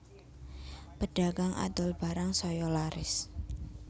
Pedagang adol barang saya laris